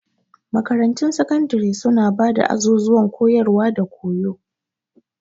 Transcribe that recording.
Makarantun sakandare suna ba da azuzuwan koyarwa da koyo.